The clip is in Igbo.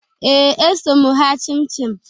Ee, eso m ha chịmchịm